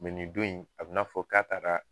nin don in a bina fɔ k'a tara